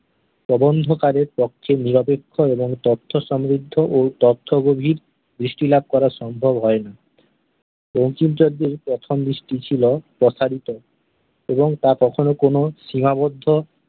প্রবন্ধকারের পক্ষে নিরপেক্ষ এবং তথ্যসমৃদ্ধ ও তথ্য-গভীর দৃষ্টিলাভ করা সম্ভব হয়নি। বঙ্কিমচন্দ্র-এর প্রথম দৃষ্টি ছিল প্রসারিত এবং তা কখনও কোনও সীমাবদ্ধ